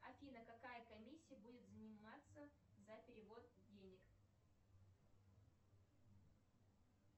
афина кака комиссия будет взиматься за перевод денег